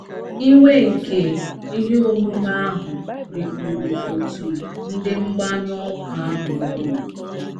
Iwe nke ihe omume ahụ rikpuru òtù ndị mgbanyụ ọkụ ahụ ọnụ.